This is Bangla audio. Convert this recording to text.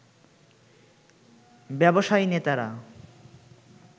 ব্যবসায়ী নেতারা